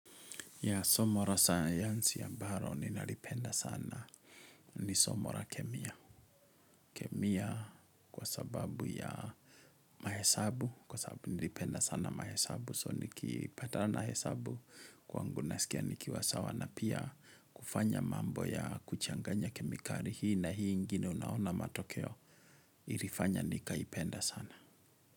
Ya somo la sayansi ambalo ninalipenda sana. Ni somo la kemia. Kemia kwa sababu ya mahesabu. Kwa sababu nilipenda sana mahesabu. So nikipatana na hesabu kwangu nasikia nikiwa sawa na pia kufanya mambo ya kuchanganya kemikali hii na hii ingine unaona matokeo. Ilifanya nikaipenda sana.